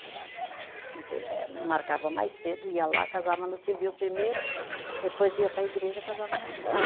A gente eh marcava mais cedo, ia lá, casava no civil primeiro, depois ia para a igreja e casava na igreja.